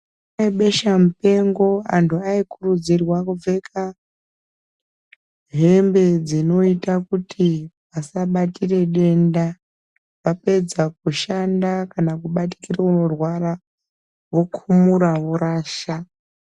Nguva yebesha mupengo anhu aikurudzirwa kupfeka hembe dzinoite kuti asabatire denda apedza kushanda kana kubatsire orwara, okhumura vorasha.